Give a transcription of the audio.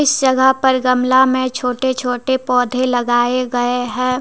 इस जगह पर गमला में छोटे छोटे पौधे लगाए गए हैं।